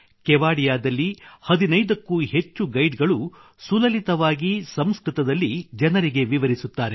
ಕೇವಾಡಿಯಾದಲ್ಲಿ 15 ಕ್ಕೂ ಹೆಚ್ಚು ಗೈಡ್ ಗಳು ಸುಲಲಿತವಾಗಿ ಸಂಸ್ಕೃತದಲ್ಲಿ ಜನರಿಗೆ ವಿವರಿಸುತ್ತಾರೆ